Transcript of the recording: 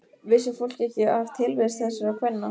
Vissi fólk ekki af tilvist þessara kvenna?